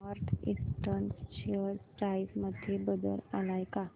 north eastern share price मध्ये बदल आलाय का